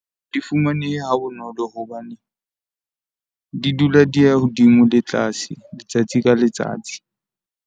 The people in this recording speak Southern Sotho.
Di fumanehe ha bonolo hobane, di dula di ya hodimo le tlase letsatsi ka letsatsi.